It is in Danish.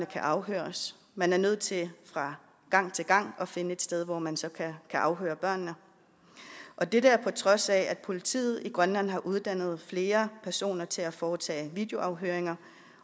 afhøres man er nødt til fra gang til gang at finde et sted hvor man så kan afhøre børnene og det er på trods af at politiet i grønland har uddannet flere personer til at foretage videoafhøringer